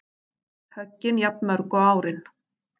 Höggin jafnmörg og árin